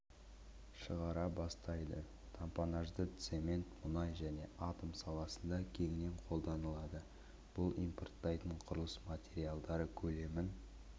шығара бастайды тампонажды цемент мұнай және атом саласында кеңінен қолданылады бұл импорттайтын құрылыс материалдары көлемін